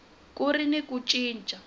ku ri na ku cinca